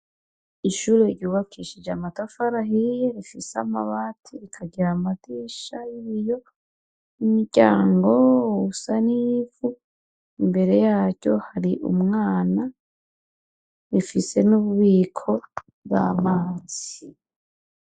Ishure ryubakishije amatafari ahiye, rifise amabati, rikagira amadirisha y'ibiyo n'umuryango usa n'ivu. Imbere yaryo hari umwana, rifise n'ububiko bw'amazi.